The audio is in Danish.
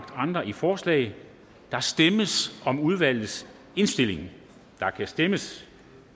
andre i forslag der stemmes om udvalgets indstilling og der kan stemmes